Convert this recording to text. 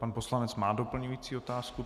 Pan poslanec má doplňující otázku.